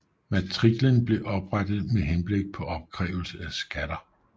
Matriklen blev oprettet med henblik på opkrævelse af skatter